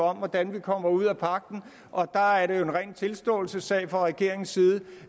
om hvordan vi kommer ud af pagten der er det jo en ren tilståelsessag fra regeringens side